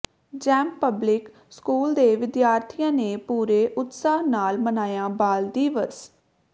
Gem public school ਦੇ ਵਿਦਿਆਰਥੀਆਂ ਨੇ ਪੂਰੇ ਉਤਸਾਹ ਨਾਲ ਮਨਾਇਆ ਬਾਲ ਦਿਵਸ